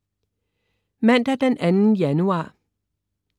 Mandag den 2. januar